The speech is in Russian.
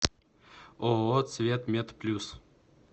ооо цветметплюс